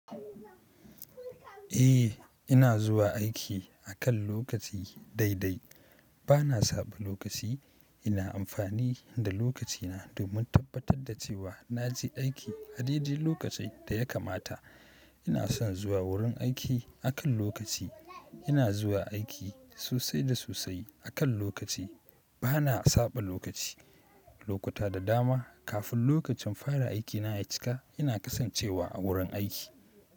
Eh ina zuwa aiki akan lokaci dai dai. Bana saɓa lokaci. Ina amfani da lokacina domin tabbatar da cewa na je aiki a dai dai lokacin da ya kamata. Ina son zuwa wurin aiki akan lokaci. Ina zuwa aiki sosai da sosai akan lokaci. Bana saɓa lokaci. Lokuta da dama kafin lokacin fara aikina ya cika ina kasancewa a wurin aiki.